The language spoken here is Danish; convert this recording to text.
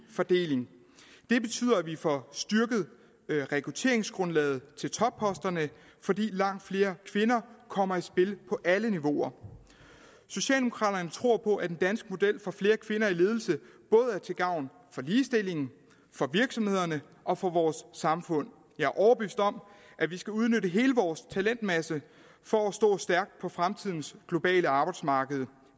fordeling det betyder at vi får styrket rekrutteringsgrundlaget til topposterne fordi langt flere kvinder kommer i spil på alle niveauer socialdemokraterne tror på at den danske model for flere kvinder i ledelse både er til gavn for ligestillingen for virksomhederne og for vores samfund jeg er overbevist om at vi skal udnytte hele vores talentmasse for at stå stærkt på fremtidens globale arbejdsmarked